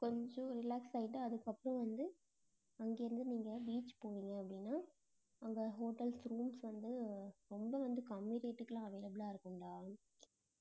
கொஞ்சம் relax ஆயிட்டு அதுக்கப்புறம் வந்து அங்க இருந்து நீங்க beach போனீங்க அப்படின்னா அங்க hotels, rooms வந்து ரொம்ப வந்து கம்மி rate க்கு எல்லாம் available ஆ இருக்கும்டா